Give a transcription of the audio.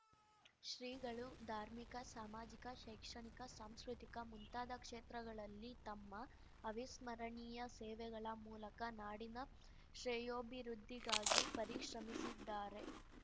ಶ್ರೀಗಳು ಧಾರ್ಮಿಕ ಸಾಮಾಜಿಕ ಶೈಕ್ಷಣಿಕ ಸಾಂಸ್ಕೃತಿಕ ಮುಂತಾದ ಕ್ಷೇತ್ರಗಳಲ್ಲಿ ತಮ್ಮ ಅವಿಸ್ಮರಣೀಯ ಸೇವೆಗಳ ಮೂಲಕ ನಾಡಿನ ಶ್ರೇಯೋಭಿವೃದ್ಧಿಗಾಗಿ ಪರಿಶ್ರಮಿಸಿದ್ದಾರೆ